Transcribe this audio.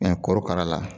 korokara la